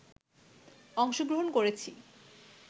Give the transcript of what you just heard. অংশগ্রহণ করেছি